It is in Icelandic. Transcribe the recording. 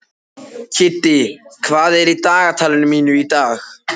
Kiddi, hvað er í dagatalinu mínu í dag?